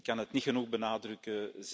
Ik kan het niet genoeg benadrukken.